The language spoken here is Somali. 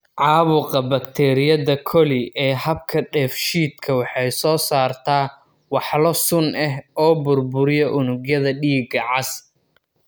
caabuqa bakteeriyada coli ee habka dheefshiidka waxay soo saartaa walxo sun ah oo burburiya unugyada dhiigga cas.